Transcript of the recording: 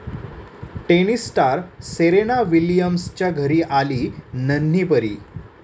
tennis star Serena विलियम्सच्या घरी आली नन्ही परी